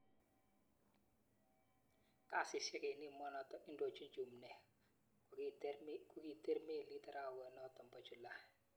Kasishek eng emonotok indochin Chumneek kokiter meliit arawanotok po. Julai